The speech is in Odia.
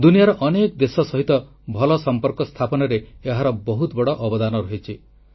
ଦୁନିଆର ଅନେକ ଦେଶ ସହିତ ଭଲ ସଂପର୍କ ସ୍ଥାପନରେ ଏହାର ବହୁତ ବଡ଼ ଅବଦାନ ରହିଛି